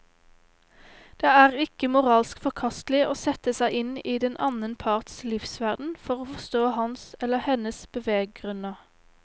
Det er ikke moralsk forkastelig å sette seg inn i den annen parts livsverden for å forstå hans eller hennes beveggrunner.